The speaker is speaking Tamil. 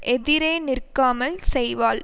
எதிரே நிற்காமல் செய்வாள்